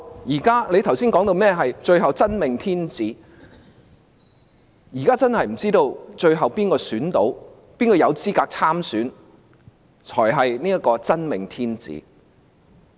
他剛才提到最後會出現"真命天子"，現在我們真的不知道最後誰有資格參選和當選，而那人才是"真命天子"。